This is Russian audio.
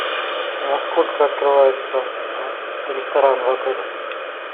во сколько открывается ресторан в отеле